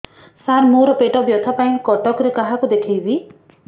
ସାର ମୋ ର ପେଟ ବ୍ୟଥା ପାଇଁ କଟକରେ କାହାକୁ ଦେଖେଇବି